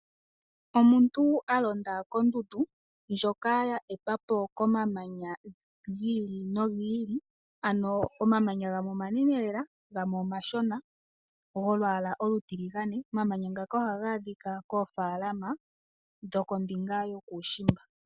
Omuntu a londa kondundu ndjoka ya etwa po komamanya gi ili nogi ili ano omamanya gamwe omanene lela gamwe omashona golwaala olutiligane. Omamanya ngaka ohaga adhika koofaalama dho kombinga yokuushiimba.